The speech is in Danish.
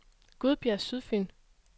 Gudbjerg Sydfyn